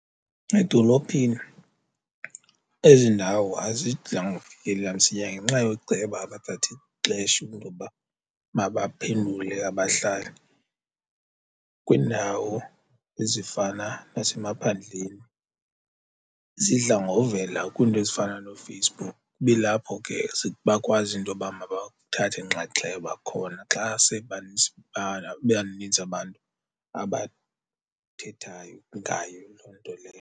Edolophini ezi ndawo azidla ngokufikelela msinya ngenxa yooceba abathatha ixesha intoba mabaphendule abahlali kwiindawo ezifana nasemaphandleni. Zidla ngovela kwiinto ezifana nooFacebook kube lapho ke bakwazi intoba mabathathe inxaxheba khona xa sebeba nintsi abantu abathethayo ngayo loo nto leyo.